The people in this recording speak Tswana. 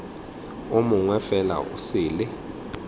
o mongwe fela o sele